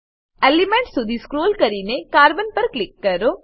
element સુધી scroll કરીને carbon પર ક્લિક કરો